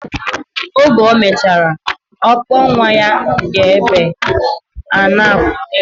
Oge omechara, okpor nwa ya ga ebe ana akuzi ihe.